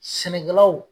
Sɛnɛkɛlawl